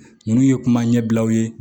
Ninnu ye kuma ɲɛbilaw ye